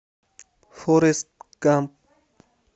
форрест гамп